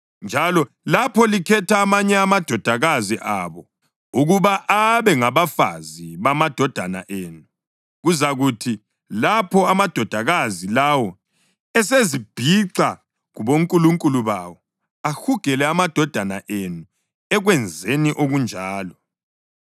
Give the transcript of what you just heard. Njalo lapho likhetha amanye amadodakazi abo ukuba abe ngabafazi bamadodana enu kuzakuthi lapho amadodakazi lawo esezibhixa kubonkulunkulu bawo, ahugele amadodana enu ekwenzeni okunjalo.